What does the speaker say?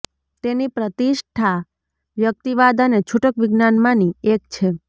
તેની પ્રતિષ્ઠા વ્યક્તિવાદ અને છૂટક વિજ્ઞાનમાંની એક છે